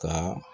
Ka